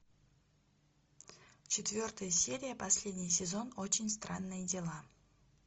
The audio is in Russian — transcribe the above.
четвертая серия последний сезон очень странные дела